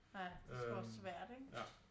Ja det er sgu også svært ikke